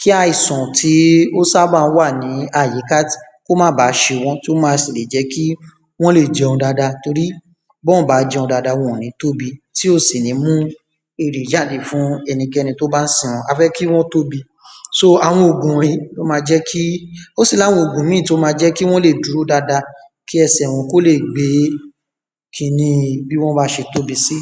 kí àìsàn tí ó sábà wà ní àyíká kí ó maà bàá se wọ́n kí ó má sì le jẹ́ kí wọ́n lè jẹun dada bọ́ọ̀ bá jeun dada wọn ò ní tóbi tí ò sì ní mú èrè jáde fún ẹnikẹni tí ón bá n sìn wọ́n, a fé kí wọ́n tóbi so, àwọn ògùn wònyí ni ó ma jẹ́ ó sì ní àwọn ògùn míì tí ó ma jẹ́ kí wọ́n lè dúró dada kí ẹsẹ̀ wọn kí ó lè gbé kiníi bí wọ́n bá se tóbi sí